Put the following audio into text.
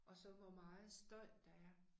Og så hvor meget støj der er